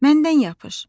Məndən yapış.